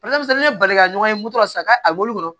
ne balika ɲɔgɔn ye n moto la sisan ka a wolo kɔnɔ